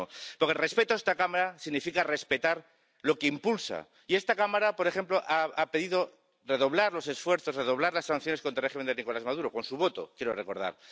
Porque el respeto a esta Cámara significa respetar lo que impulsa. Y esta Cámara, por ejemplo, ha pedido redoblar los esfuerzos, redoblar las sanciones contra el régimen de Nicolás Maduro —con su voto, quiero recordar—.